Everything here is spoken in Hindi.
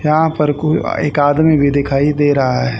यहाँ पर कुल एक आदमी भी दिखाई दे रहा--